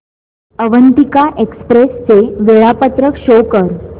Avantika express चे वेळापत्रक show कर